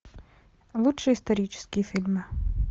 лучшие исторические фильмы